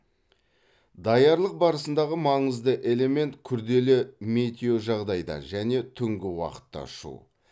даярлық барысындағы маңызды элемент күрделі метеожағдайда және түнгі уақытта ұшу